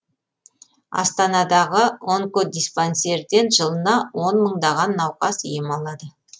астанадағы онкодиспансерден жылына он мыңдаған науқас ем алады